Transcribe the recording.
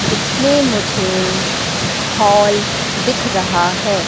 इसमें मुझे हाल दिख रहा है।